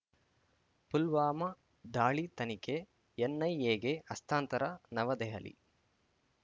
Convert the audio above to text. ಪುಲ್ವಾಮಾ ದಾಳಿ ತನಿಖೆ ಎನ್‌ಐಎಗೆ ಹಸ್ತಾಂತರ ನವದೆಹಲಿ